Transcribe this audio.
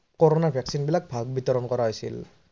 corona vaccine বিলাক ভাগ বিতৰন কৰা হৈছিল।